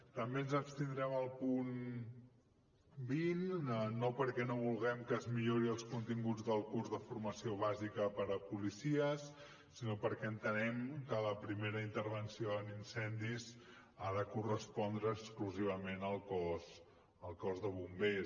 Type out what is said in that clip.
també ens abstindrem al punt vint no perquè no vulguem que es millorin els continguts del curs de formació bàsica per a policies sinó perquè entenem que la primera intervenció en incendis ha de correspondre exclusivament al cos de bombers